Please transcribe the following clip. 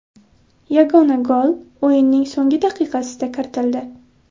Yagona gol o‘yinning so‘nggi daqiqasida kiritildi.